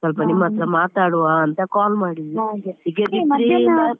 ಸ್ವಲ್ಪ ನಿಮ್ಮತ್ರ ಮಾತಾಡುವ ಅಂತ call ಮಾಡಿದೆ .